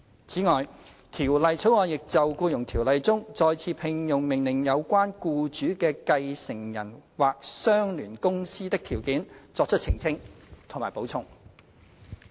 此外，《條例草案》亦就《僱傭條例》中，再次聘用命令有關僱主的繼承人或相聯公司的條件，作出澄清及補充。